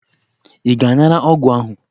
Ị ga-anara ọgwụ ahụ?